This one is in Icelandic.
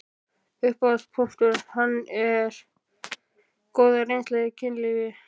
Upphafspunktur hans er hin góða reynsla af kynlífi.